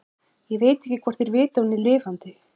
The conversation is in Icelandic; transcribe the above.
Ég veit ekki hvort þeir vita að hún er lifandi.